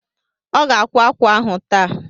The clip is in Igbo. Ọ ga-akwá ákwà ahụ taa.